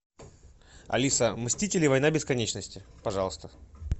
алиса мстители война бесконечности пожалуйста